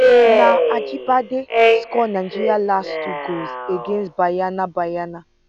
na ajibade score nigeria last two goals against banyana banyana